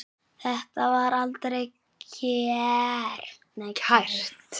Þetta var aldrei kært.